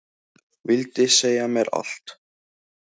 Vildi segja mér allt.